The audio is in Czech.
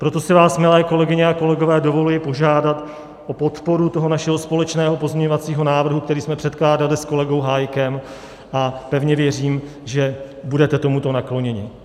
Proto si vás, milé kolegyně a kolegové, dovoluji požádat o podporu toho našeho společného pozměňovacího návrhu, který jsme předkládali s kolegou Hájkem, a pevně věřím, že budete tomuto nakloněni.